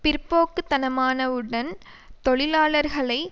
பிற்போக்கு தனமான வுடன் தொழிலாளர்களை